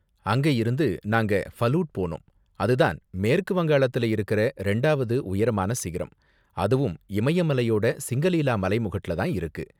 அங்க இருந்து நாங்க ஃபலூட் போனோம், அதுதான் மேற்கு வங்காளத்துல இருக்குற ரெண்டாவது உயரமான சிகரம், அதுவும் இமய மலையோட சிங்கலீலா மலைமுகட்டுல தான் இருக்கு.